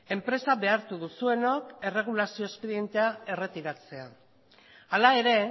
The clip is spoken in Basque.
enpresa behartu duzuenok erregulazio espedientea erretiratzea hala ere